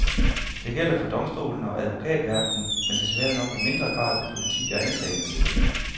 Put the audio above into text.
Det gælder for domstolene og advokatverdenen, men desværre nok i mindre grad for politi og anklagemyndighed.